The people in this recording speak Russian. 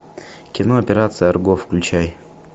кино операция арго включай